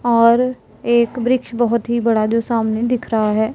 और एक वृक्ष बहोत ही बड़ा जो सामने दिख रहा है।